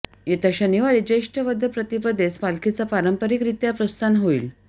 येत्या शनिवारी ज्येष्ठ वद्य प्रतिपदेस पालखीचं पारंपरिकरित्या प्रस्थान होईल